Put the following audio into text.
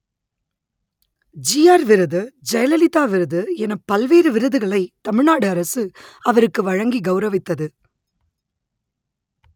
GR விருது ஜெயலலிதா விருது எனப் பல்வேறு விருதுகளை தமிழ் நாடு அரசு அவருக்கு வழங்கி கெளரவித்தது